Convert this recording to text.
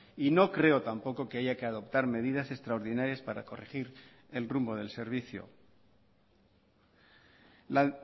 y no creo tampoco que haya que adoptar medidas extraordinarias para corregir el rumbo del servicio la